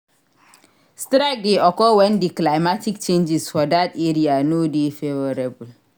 Strike de occur when di climatic changes for that area no de favourable